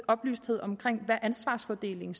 oplysthed om hvad ansvarsfordelingen